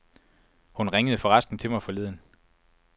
Hun ringede forresten til mig forleden.